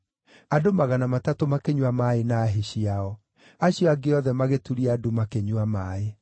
Andũ magana matatũ makĩnyua maaĩ na hĩ ciao. Acio angĩ othe magĩturia ndu makĩnyua maaĩ.